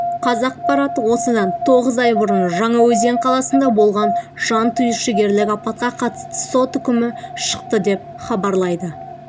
қазақпарат осыдан тоғыз ай бұрын жаңаөзен қаласында болған жантүршігерлік апатқа қатысты сот үкімі шықты деп хабарлайды